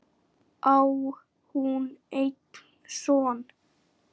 Á hún einn son.